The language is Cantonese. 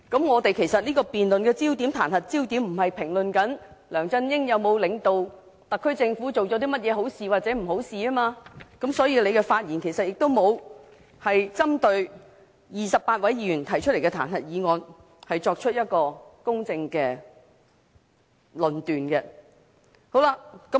我們此項辯論的彈劾焦點，不是評論梁振英有否領導特區政府做了甚麼好事或不好的事，所以，他的發言亦沒有針對28位議員提出的彈劾議案，作出公正的論述。